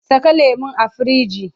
Saka lemon a firinji!